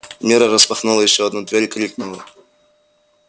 мирра распахнула ещё одну дверь крикнула